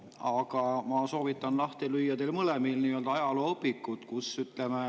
Aga ma soovitan teil mõlemal lahti lüüa ajalooõpikud.